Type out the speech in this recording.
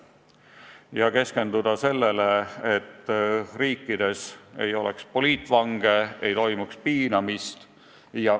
Tuleb keskenduda selle tagamisele, et riikides ei oleks poliitvange, ei toimuks piinamist.